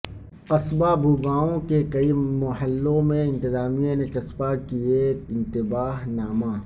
قصبہ بھوگائوں کے کئی محلوں میں انتظامیہ نے جسپاں کئے انتباہ نامہ